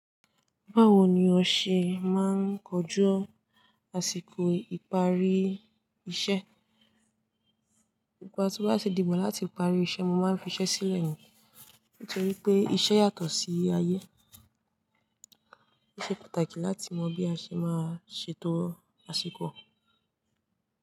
Báwo ni ó ṣe máa ń kojú àsìkò ìparí iṣẹ́? Ìgbà tó bá tí dìgbà láti parí iṣẹ́, mo máa ń fi iṣẹ́ sílẹ̀ ó, nítorí pé iṣẹ́ yàtọ̀ sí ayé. Ó ṣe pàtàkì láti mọ bí a ṣe máa ṣe ètò àsìkò.